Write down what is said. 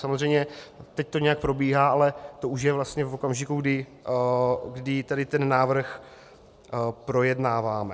Samozřejmě teď to nějak probíhá, ale to už je vlastně v okamžiku, kdy tady ten návrh projednáváme.